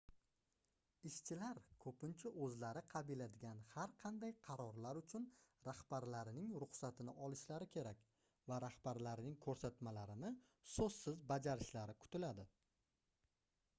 ishshilar koʻpincha oʻzlari qabiladigan har qanday qarorlar uchun rahbarlarining ruxsatini olishlari kerak va rahbarlarining koʻrsatmalarini soʻzsiz bajarishlari kutiladi